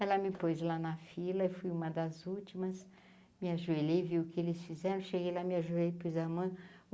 Ela me pôs lá na fila, eu fui uma das últimas, me ajoelhei vi o que eles fizeram, cheguei lá, me joelha pus a mão.